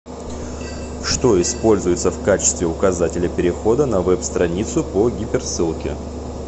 что используется в качестве указателя перехода на веб страницу по гиперссылке